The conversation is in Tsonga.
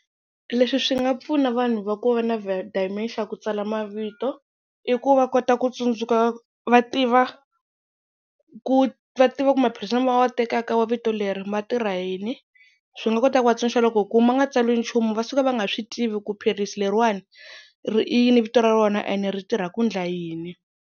Leswi swi nga pfuna vanhu va ku va na dementia ku tsala mavito, i ku va kota ku tsundzuka va tiva ku va tiva ku maphilisi lama va tekaka ya vito leri ma tirha yini, swi nga kota ku vatsunduxa loko ku ma nga tsariwi nchumu va suka va nga swi tivi ku philisi leriwani ri i yini vito ra rona ene ri tirha ku endla yini.